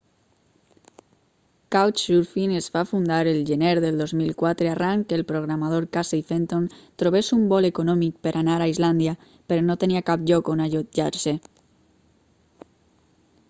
couchsurfing es va fundar el gener del 2004 arran que el programador casey fenton trobés un vol econòmic per anar a islàndia però no tenia cap lloc on allotjar-se